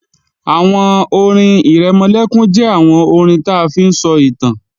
Àwọn orin-ìrẹmọlẹ́kún jẹ́ àwọn orin ta fi ń sọ ìtàn